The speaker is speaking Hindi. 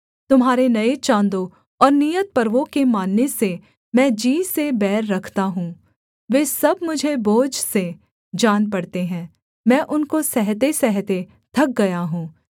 तुम्हारे नये चाँदों और नियत पर्वों के मानने से मैं जी से बैर रखता हूँ वे सब मुझे बोझ से जान पड़ते हैं मैं उनको सहतेसहते थक गया हूँ